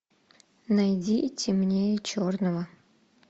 найди темнее черного